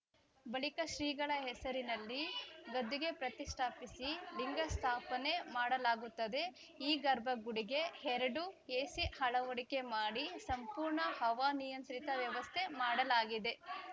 ಬಳಿಕ ಶ್ರೀಗಳ ಹೆಸರಿನಲ್ಲಿ ಗದ್ದುಗೆ ಪ್ರತಿಷ್ಠಾಪಿಸಿ ಲಿಂಗ ಸ್ಥಾಪನೆ ಮಾಡಲಾಗುತ್ತದೆ ಈ ಗರ್ಭಗುಡಿಗೆ ಎರಡು ಎಸಿ ಅಳವಡಿಕೆ ಮಾಡಿ ಸಂಪೂರ್ಣ ಹವಾನಿಯಂತ್ರಿತ ವ್ಯವಸ್ಥೆ ಮಾಡಲಾಗಿದೆ